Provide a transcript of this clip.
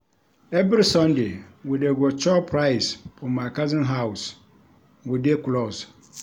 Every Sunday, we dey go chop rice for my cousin house, we dey close.